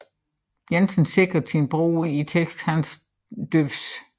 Jensen skildrede sin bror i teksten Hans Deuvs